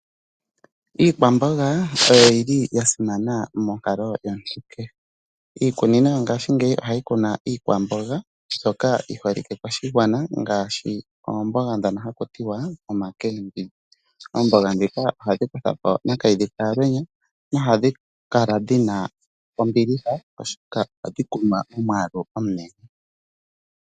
Iikwamboga oyo yi li yasimana monkalo yomuntu kehe. Iikunino yo ngaashi ngeyi ohayi kunu iikwamboga mbyoka yi holike koshigwana ngaashi oomboga ndhono hakuti wa omakeembidji. Oomboga ndhika ohadhi kutha po nakayidhi kahalwenya hadhi kala dhi na ombiliha oshoka ohadhi kunwa momwaalu omunene.